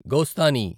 Gosthani